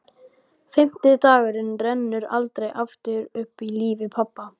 Fimmti dagurinn rennur aldrei aftur upp í lífi pabba.